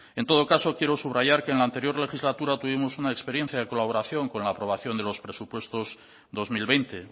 en todo caso quiero subrayar que en la anterior legislatura tuvimos una experiencia de colaboración con la aprobación de los presupuestos dos mil veinte